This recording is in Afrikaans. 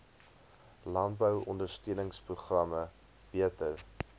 landbou ondersteuningsprogramme beter